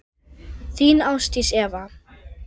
Þín Ásdís Eva.